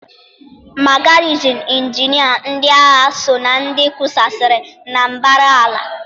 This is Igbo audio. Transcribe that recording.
Ma garịzin injinia ndị agha sọ na ndị kusaasịrị na mbara ala.